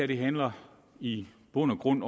det her i bund og grund